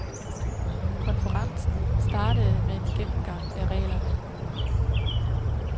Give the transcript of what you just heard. Konferencen startede med en gennemgang af reglerne.